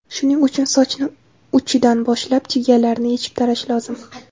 Shuning uchun sochni uchidan boshlab, chigallarini yechib tarash lozim.